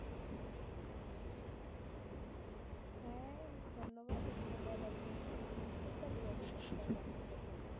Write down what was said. হ্যাঁ ধন্যবাদ এগুলো বলার জন্য। আমি চেষ্টা করি আসলে খেয়াল রাখার জন্য।